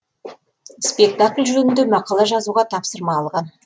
спектакль жөнінде мақала жазуға тапсырма алғам